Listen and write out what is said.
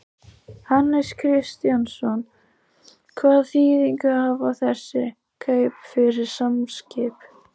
Jóhannes Kristjánsson: Hvaða þýðingu hafa þessi kaup fyrir Samskip?